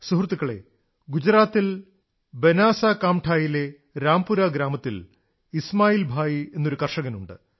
സുഹൃത്തുക്കളേ ഗുജറാത്തിൽ ബനാസ്കന്ധയിലെ രാംപുരാ ഗ്രാമത്തിൽ ഇസ്മാഇൽ ഭായി എന്നൊരു കർഷകനുണ്ട്